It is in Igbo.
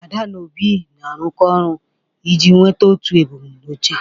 Ada na Obi na-arụkọ ọrụ iji nweta otu ebumnuche.